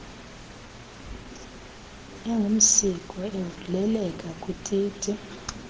engumsiko evuleleka kwititi